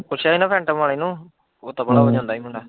ਪੁੱਛਿਆ ਹੀ ਨਾ ਸੈਟਮ ਵਾਲੇ ਨੂੰ, ਓਹ ਤਬਲਾ ਵਜਾਉਂਦਾ ਏ ਮੁੰਡਾ।